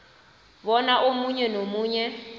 bona omunye nomunye